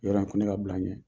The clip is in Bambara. Yɔrɔ ye ko ne ka bila a ɲɛ.